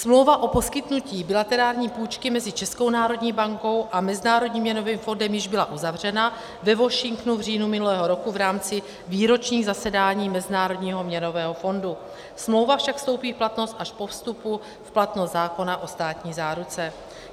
Smlouva o poskytnutí bilaterální půjčky mezi Českou národní bankou a Mezinárodním měnovým fondem již byla uzavřena ve Washingtonu v říjnu minulého roku v rámci výročního zasedání Mezinárodního měnového fondu, smlouva však vstoupí v platnost až po vstupu v platnost zákona o státní záruce.